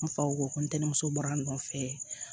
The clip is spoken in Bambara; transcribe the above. N faw ntɛmuso bɔra a nɔfɛ